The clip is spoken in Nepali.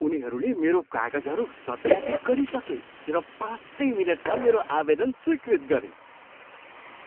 उनीहरूले मेरो कागजहरू सत्यापित गरिसके र पाँचै मिनटमा मेरो आवेदन स्वीकृत गरे!